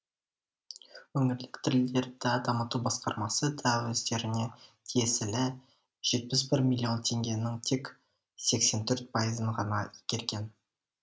өңірлік тілдерді дамыту басқармасы да өздеріне тиесілі жетпіс бір миллион теңгенің тек сексен төрт пайызын ғана игерген